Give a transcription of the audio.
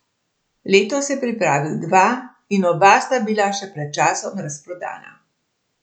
Letos je pripravil dva in oba sta bila že pred časom razprodana.